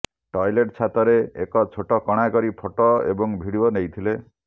toilet ଛାତରେ ଏକ ଛୋଟ କଣା କରି ଫଟୋ ଏବଂ ଭିଡିଓ ନେଇଥିଲେ